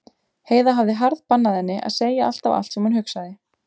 Heiða hafði harðbannað henni að segja alltaf allt sem hún hugsaði.